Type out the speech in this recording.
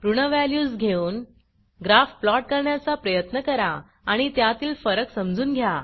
ऋण व्हॅल्यूज घेऊन graph plot करण्याचा प्रयत्न करा आणि त्यातील फरक समजून घ्या